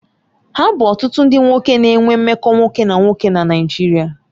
Ha bu otutu ndi nwoke na-enwe mmekọ nwoke na nwoke na Naijiria